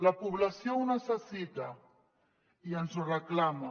la població ho necessita i ens ho reclama